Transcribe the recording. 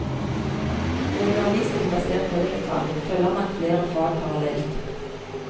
Ved undervisning basert på vekttall følger man flere fag parallelt.